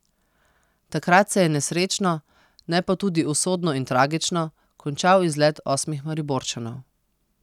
Takrat se je nesrečno, ne pa tudi usodno in tragično, končal izlet osmih Mariborčanov.